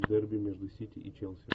дерби между сити и челси